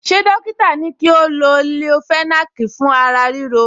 Ṣé dọ́kítà ní kí o lo leofenac fún ara ríro